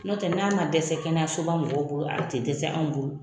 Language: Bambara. Nɔtɛ n'a ma dɛsɛ kɛnɛyasoba mɔgɔw bolo a tɛ dɛsɛ anw bolo.